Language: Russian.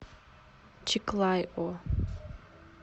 чиклайо